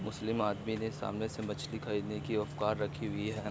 मुस्लिम आदमी ने सामने से मछली खरीदने की औकात रखी हुई है।